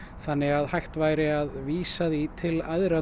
þannig að hægt væri að vísa því til æðra